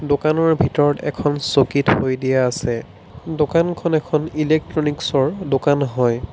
দোকানৰ ভিতৰত এখন চকী থৈ দিয়া আছে দোকানখন এখন ইলেকট্ৰনিকছৰ দোকান হয়।